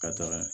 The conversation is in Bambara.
Ka taga